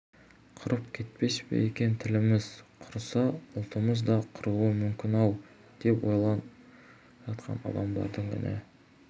құрып кетпес пе екен тіліміз құрыса ұлтымыз да құруы мүмкін-ау деп ойланып жатқан адамдардың үні